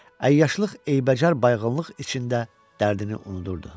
Əyyaşlıq eybəcər bayğıllıq içində dərdini unudurdu.